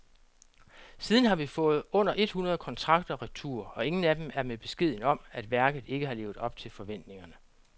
Siden har vi fået under et hundrede kontrakter retur, og ingen af dem er med beskeden om, at værket ikke har levet op til forventningerne.